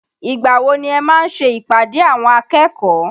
Ìgbà wo ni ẹ máa ń ṣe ìpàdé àwọn akẹ́kọ̀ọ́?